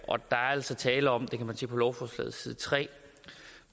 altså tale om det kan man se på lovforslagets side tre